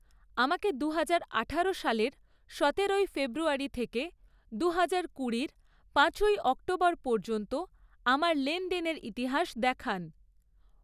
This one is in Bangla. আমাকে দুহাজার আঠারো সালের সতেরোই ফেব্রুয়ারি থেকে দুহাজার কুড়ির পাঁচই অক্টোবর পর্যন্ত আমার লেনদেনের ইতিহাস দেখান।